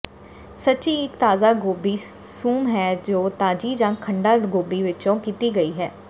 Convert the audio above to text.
ਸ਼ਚੀ ਇੱਕ ਤਾਜ਼ਾ ਗੋਭੀ ਸੂਪ ਹੈ ਜੋ ਤਾਜੀ ਜਾਂ ਖੰਡਾ ਗੋਭੀ ਵਿੱਚੋਂ ਕੀਤੀ ਗਈ ਹੈ